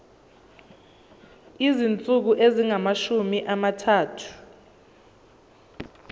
izinsuku ezingamashumi amathathu